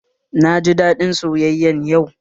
Na ji daɗin sayayyan yau